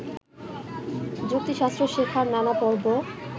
যুক্তিশাস্ত্র শেখার নানা পর্ব